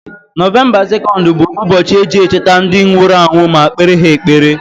Novemba 2 bụ ụbọchị eji echeta ndi nwuru anwu ma kpere ha ekpere.